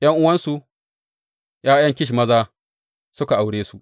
’Yan’uwansu, ’ya’yan Kish maza, suka aure su.